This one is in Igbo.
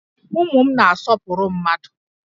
Ụmụ m na-asọpụrụ mmadụ